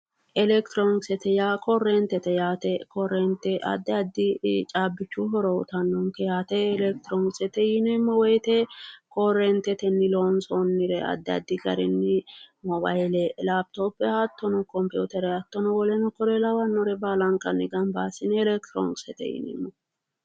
Electironkisete yaa korreentete yaate korreente addi addi caabbichu horo uytannonke yaate electroniksete yineemmo woyte korreentetenni loonsoonnire addi addi garinni moobayile laapitoppe hattono kompiitere hattono woleno kuri lawannore baalankanni gamba assine electironiksete yineemmo